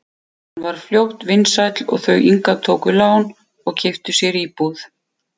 Hann varð fljótt vinsæll og þau Inga tóku lán og keyptu sér íbúð.